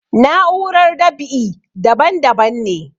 Na'urar dab'i daban daban ne